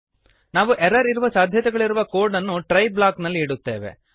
ನಾವು ಎರರ್ ಇರುವ ಸಾಧ್ಯತೆಗಳಿರುವ ಕೋಡನ್ನು ಟ್ರೈ ಬ್ಲಾಕ್ನಲ್ಲಿ ಇಡುತ್ತೇವೆ